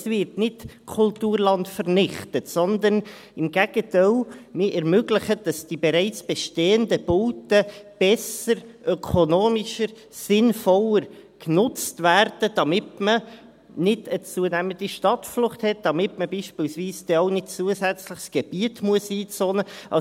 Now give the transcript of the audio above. Es wird also nicht Kulturland vernichtet, sondern im Gegenteil ermöglicht, dass die bereits bestehenden Bauten besser, ökonomischer, sinnvoller genutzt werden, damit man nicht eine zunehmende Stadtflucht hat, damit man beispielsweise dann auch nicht zusätzliches Gebiet einzonen muss.